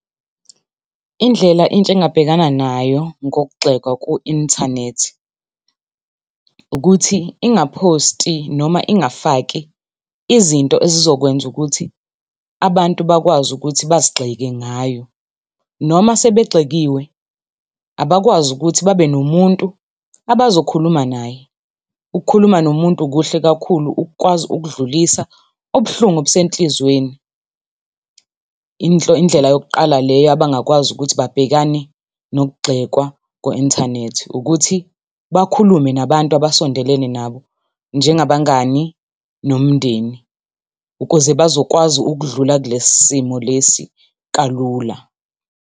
Indlela intsha engabhekana nayo ngokugxekwa ku-inthanethi, ukuthi ingaphosti noma ingafaki izinto ezizokwenza ukuthi abantu bakwazi ukuthi bazigxeke ngayo. Noma sebegxekiwe, abakwazi ukuthi babe nomuntu abazokhuluma naye. Ukukhuluma nomuntu kuhle kakhulu ukukwazi ukudlulisa ubuhlungu obusenhlizweni. Indlela yokuqala leyo abangakwazi ukuthi babhekane nokugxekwa ku-inthanethi, ukuthi bakhulume nabantu abasondelene nabo njengabangani nomndeni. Ukuze bazokwazi ukudlula kule simo lesi kalula.